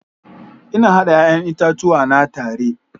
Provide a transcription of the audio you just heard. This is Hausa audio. Ina hada 'ya'yan itatuwa na tare.